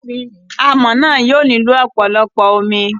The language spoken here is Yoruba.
Amọ̀ náà yóò nílò ọ̀pọ̀lọpọ̀ omi.